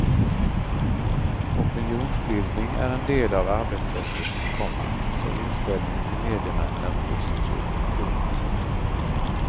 Opinionsbildning är en del av arbetssättet, komma så inställningen till medierna är positiv. punkt